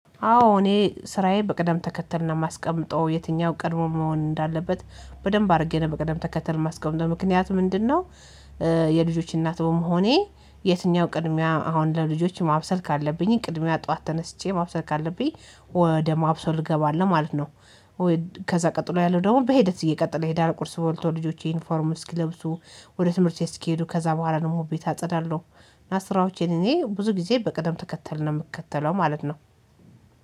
አዎ እኔ ስራዬ በቅደም ተከተል ነው የማስቀምጠው የትኛው ቀድሞ መሆን እንዳለበት በደንብ አድርጌ ነው በቅደም ተከተል የማስቀምጠው ምክንያቱም ምንድነው የልጆች እናት በመሆኔ የትኛው ቅድሚያ አሁን ለልጆች ማብሰል ካለብኝ ቅድሚያ ጠዋት ተነስቼ ማብሰል ካለብኝ ወደ ማብሰል እገባለሁ ማለት ነው ከዛ ቀጥሎ ያለው ደግሞ በሂደት እየቀጠለ ይሄዳል ቁርስ በልቶ ልጆች ዩኒፎርም እስኪለብሱ ወደ ትምህርት እስኬዱ ከዛ በኋላ ደግሞ ቤት አጸዳለሁ እና ስራዎቼን እኔ ብዙ ጊዜ በቅደም ተከተል ነው የምከተለው ማለት ነው።